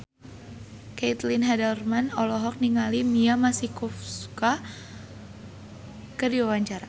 Caitlin Halderman olohok ningali Mia Masikowska keur diwawancara